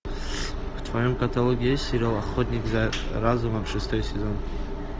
в твоем каталоге есть сериал охотник за разумом шестой сезон